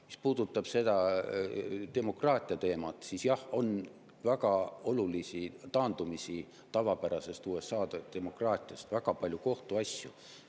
Mis puudutab seda demokraatia teemat, siis jah, on väga olulisi taandumisi tavapärasest USA demokraatiast, on väga palju kohtuasju.